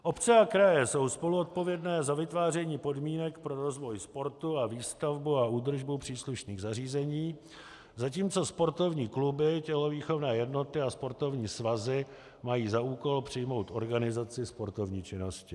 Obce a kraje jsou spoluzodpovědné za vytváření podmínek pro rozvoj sportu a výstavbu a údržbu příslušných zařízení, zatímco sportovní kluby, tělovýchovný jednoty a sportovní svazy mají za úkol přijmout organizaci sportovní činnosti.